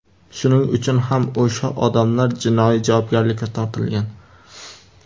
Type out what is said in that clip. Shuning uchun ham o‘sha odamlar jinoiy javobgarlikka tortilgan.